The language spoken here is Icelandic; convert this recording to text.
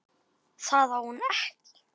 Það á hún ekki.